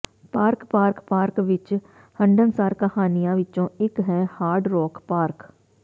park park park ਵਿਚ ਹੰਢਣਸਾਰ ਕਹਾਣੀਆਂ ਵਿਚੋਂ ਇਕ ਹੈ ਹਾਰਡ ਰੌਕ ਪਾਰਕ